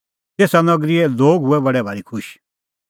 तेसा नगरीए लोग हुऐ बडै भारी खुश